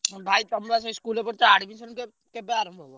ଭାଇ ତମେବା ସେ school ରେ କରୁଛ admission କେ କେବେ ଆରମ୍ଭ ହବ?